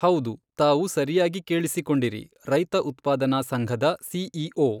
ಹೌದು, ತಾವು ಸರಿಯಾಗಿ ಕೇಳಿಸಿಕೊಂಡಿರಿ, ರೈತ ಉತ್ಪಾದನಾ ಸಂಘದ ಸಿಈಓ.